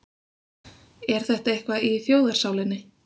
Er þetta eitthvað í þjóðarsálinni?